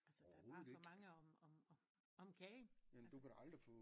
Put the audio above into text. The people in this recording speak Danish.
Altså der er bare for mange om om om kagen altså